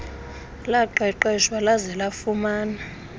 laqeqeshwa laze lafumana